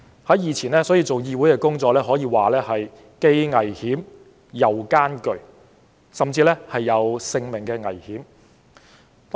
所以，以前做議會工作可說是既危險又艱巨，甚至有生命危險。